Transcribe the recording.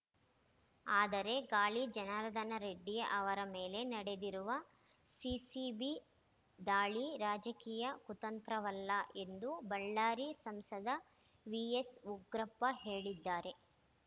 ಆದರೆ ಗಾಲಿ ಜನಾರ್ದನ ರೆಡ್ಡಿ ಅವರ ಮೇಲೆ ನಡೆದಿರುವ ಸಿಸಿಬಿ ದಾಳಿ ರಾಜಕೀಯ ಕುತಂತ್ರವಲ್ಲ ಎಂದು ಬಳ್ಳಾರಿ ಸಂಸದ ವಿಎಸ್‌ ಉಗ್ರಪ್ಪ ಹೇಳಿದ್ದಾರೆ